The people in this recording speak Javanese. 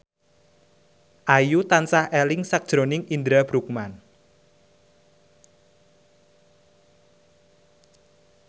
Ayu tansah eling sakjroning Indra Bruggman